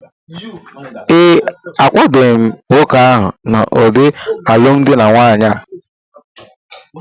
ee, akwadoghị m nwoke ahụ n’ụdị alụmdi na nwunye a